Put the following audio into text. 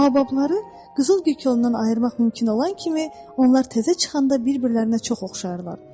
Bababları qızıl tikandan ayırmaq mümkün olan kimi, onlar təzə çıxanda bir-birlərinə çox oxşayırlar.